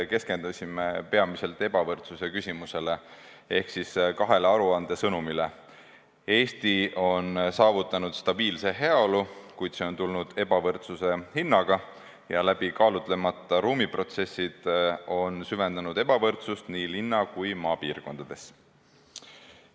Keskendusime peamiselt ebavõrdsuse küsimusele ehk aruande kahele sõnumile: Eesti on saavutanud stabiilse heaolu, kuid see on tulnud ebavõrdsuse hinnaga, läbikaalutlemata ruumiprotsessid on süvendanud ebavõrdsust nii linna- kui ka maapiirkondades.